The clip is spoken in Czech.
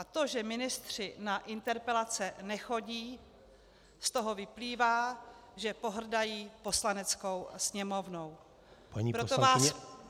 A to, že ministři na interpelace nechodí, z toho vyplývá, že pohrdají Poslaneckou sněmovnou.